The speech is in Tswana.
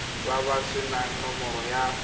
ba ba senang nomoro ya